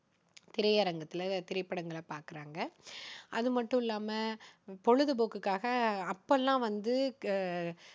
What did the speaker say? திரையரங்கத்துல திரைப்படங்களை பாக்குறாங்க. அது மட்டுமில்லாம பொழுதுபோக்குக்காக அப்போல்லாம் வந்து